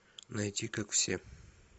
найти как все